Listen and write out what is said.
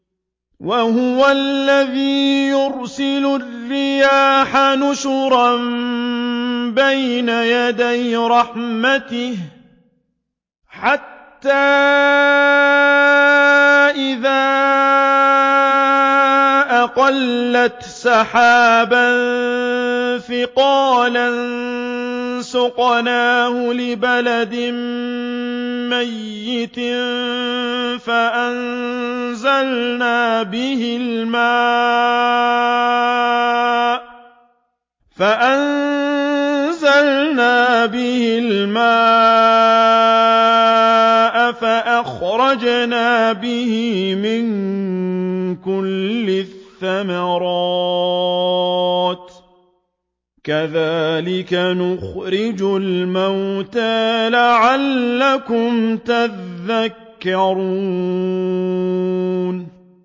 وَهُوَ الَّذِي يُرْسِلُ الرِّيَاحَ بُشْرًا بَيْنَ يَدَيْ رَحْمَتِهِ ۖ حَتَّىٰ إِذَا أَقَلَّتْ سَحَابًا ثِقَالًا سُقْنَاهُ لِبَلَدٍ مَّيِّتٍ فَأَنزَلْنَا بِهِ الْمَاءَ فَأَخْرَجْنَا بِهِ مِن كُلِّ الثَّمَرَاتِ ۚ كَذَٰلِكَ نُخْرِجُ الْمَوْتَىٰ لَعَلَّكُمْ تَذَكَّرُونَ